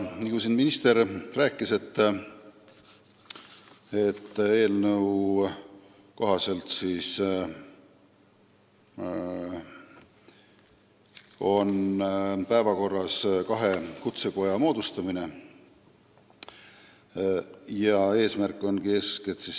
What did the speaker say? Nagu minister siin rääkis, eelnõu kohaselt on päevakorral kahe kutsekoja moodustamine.